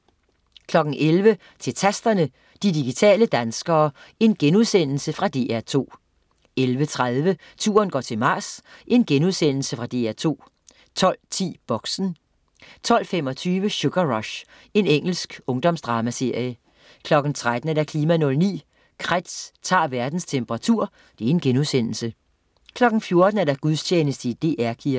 11.00 Til Tasterne, de digitale danskere. Fra DR2* 11.30 Turen går til Mars. Fra DR2 * 12.10 Boxen 12.25 Sugar Rush. Engelsk ungdomsdramaserie 13.00 KLIMA 09: Kretz tager verdens temperatur* 14.00 Gudstjeneste i DR Kirken